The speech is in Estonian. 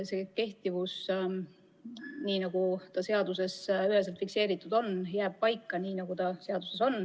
Selle meetme kehtivus jääb paika nii, nagu ta seaduses üheselt fikseeritud on.